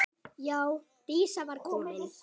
Já, Dísa var komin.